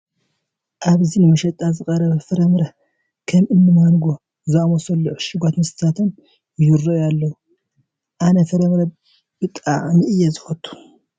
ኣብዚ ንመሸጣ ዝቐረቡ ፍረ ምረታትን ከም እኒ ማንጐ ዝኣምሰሉ ዕሹጋት መስተታትን ይርአዩ ኣለዉ፡፡ ኣነ ፍረ ምረ ምብላዕ ብጣዕሚ እየ ዝፈቱ፡፡